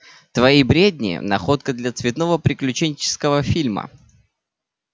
твои бредни находка для цветного приключенческого фильма